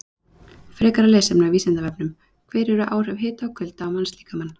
Frekara lesefni á Vísindavefnum: Hver eru áhrif hita og kulda á mannslíkamann?